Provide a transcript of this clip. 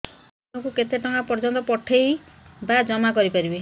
ମୁ ଦିନକୁ କେତେ ଟଙ୍କା ପର୍ଯ୍ୟନ୍ତ ପଠେଇ ବା ଜମା କରି ପାରିବି